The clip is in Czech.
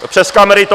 Přes kamery to...